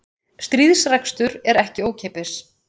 Stríðsrekstur er ekki ókeypis